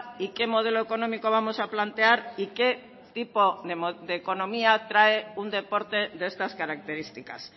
y qué modelo económico vamos a plantear y qué tipo de economía trae un deporte de estas características